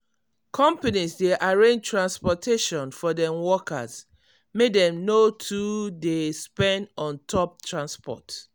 conpanies dey arrange transportation for dem workers make dem no too dey spend on top transport.